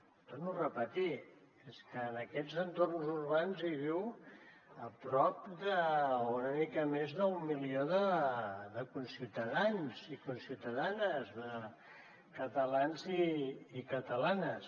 ho torno a repetir és que en aquests entorns urbans hi viu a prop d’una mica més d’un milió de conciutadans i conciutadanes de catalans i catalanes